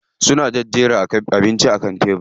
Suna jejjera abincin a kan tebiri.